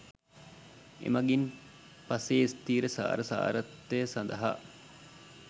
එමගින් පසේ ස්ථීරසාර සාරත්වය සඳහා